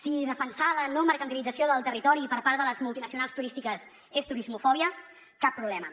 si defensar la no mercantilització del territori per part de les multinacionals turístiques és turismofòbia cap problema